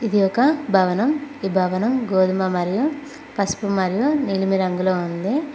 ఇది ఒక భవనం ఈ భవనం గోధుమ మరియు పసుపు మరియు నీలిమ రంగులో ఉంది.